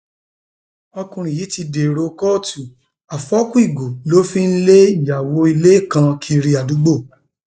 ọkùnrin yìí ti dèrò kóòtù àfọkù ìgò ló fi ń lé ìyàwó ilé kan kiri àdúgbò